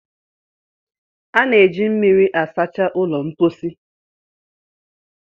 a na-eji mmiri asacha ụlọ mposi